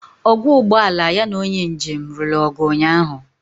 Ọgwọ ụgbụ ala ya na onye njem lụrụ ọgụ ụnyaahụ.